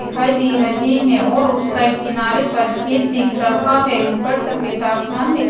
दिखाई दे रहे हैं और उस साइड किनारे पर खेत दिख रहा है ऊपर सफेद आसमान दिख--